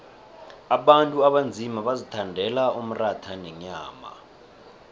abantu abanzima bazithandela umratha nenyama